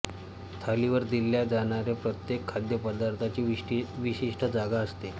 थालीवर दिल्या जाणाऱ्या प्रत्येक खाद्यपदार्थाची विशिष्ट जागा असते